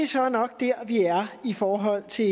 så nok der vi er i forhold til